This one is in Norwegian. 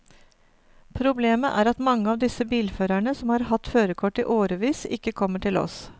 Problemet er at mange av disse bilførerne som har hatt førerkort i årevis, ikke kommer til oss.